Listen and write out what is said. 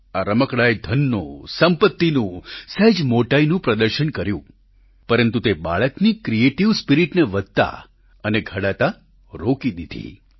આ રમકડાંએ ધનનું સંપત્તિનું સહેજ મોટાઈનું પ્રદર્શન કર્યું પરંતુ તે બાળકની ક્રિએટીવ સ્પિરિટને વધતા અને ઘડાતા રોકી દીધી